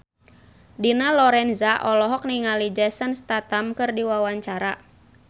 Dina Lorenza olohok ningali Jason Statham keur diwawancara